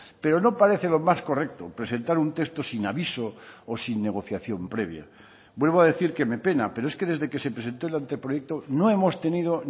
pero no parece lo más correcto presentar un texto sin aviso o sin negociación previa vuelvo a decir que me pena pero es que desde que se presentó el anteproyecto no hemos tenido